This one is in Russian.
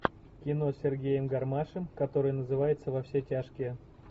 кино с сергеем гармашем которое называется во все тяжкие